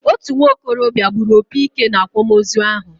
Otú nwokorobia gburu opi ike na-akwamozu ahụ